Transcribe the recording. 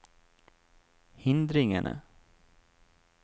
hindringene